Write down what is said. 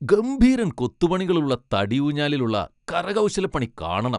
ഗംഭീരൻ കൊത്തുപണികളുള്ള തടി ഊഞ്ഞാലിൽ ഉള്ള കരകൗശലപ്പണി കാണണം!